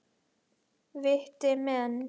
Viti menn!